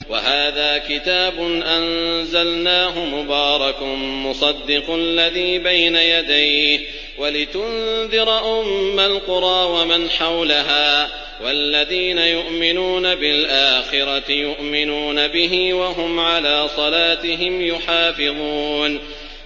وَهَٰذَا كِتَابٌ أَنزَلْنَاهُ مُبَارَكٌ مُّصَدِّقُ الَّذِي بَيْنَ يَدَيْهِ وَلِتُنذِرَ أُمَّ الْقُرَىٰ وَمَنْ حَوْلَهَا ۚ وَالَّذِينَ يُؤْمِنُونَ بِالْآخِرَةِ يُؤْمِنُونَ بِهِ ۖ وَهُمْ عَلَىٰ صَلَاتِهِمْ يُحَافِظُونَ